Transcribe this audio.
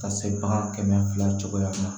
Ka se bagan kɛmɛ fila cogoya ma